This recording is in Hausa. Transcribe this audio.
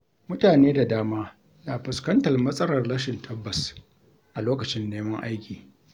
Mutane da dama na fuskantar matsalar rashin tabbas a lokacin neman aiki.